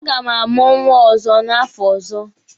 A ga m amụ nwa ọzọ n'afọ ọzọ.